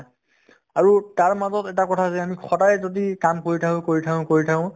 আৰু তাৰ মাজত এটা কথা যে আমি সদায় যদি কাম কৰি থাকো কৰি থাকো কৰি থাকে